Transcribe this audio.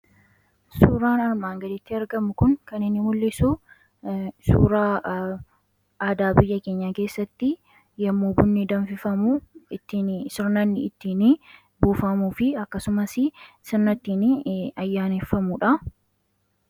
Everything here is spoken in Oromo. Suuraan armaan gaditti argamu kun kan inni mul'isu suuraa aadaa biyya keenya keessatti yommuu bunni danfifamu ittiin sirna inni ittiin buufamuu fi akkasumas sirna ittiin ayyaaneffamuudha.